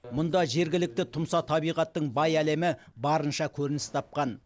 мұнда жергілікті тұмса табиғаттың бай әлемі барынша көрініс тапқан